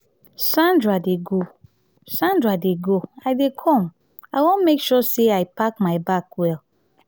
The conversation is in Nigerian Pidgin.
sandra dey go sandra dey go i dey come i wan make sure i pack my bag well.